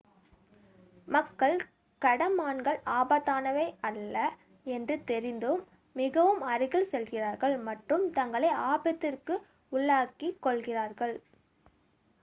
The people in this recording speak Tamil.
மக்கள் கடமான்கள் ஆபத்தானவை அல்ல என்று தெரிந்தும் மிகவும் அருகில் செல்கிறார்கள் மற்றும் தங்களை ஆபத்திற்கு உள்ளாக்கிக் கொள்கிறார்கள்